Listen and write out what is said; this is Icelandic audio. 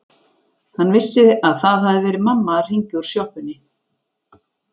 Hann vissi að það hafði verið mamma að hringja úr sjoppunni.